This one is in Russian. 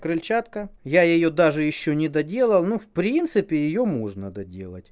крыльчатка я её даже ещё не доделала но в принципе её можно доделать